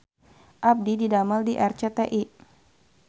Abdi didamel di RCTI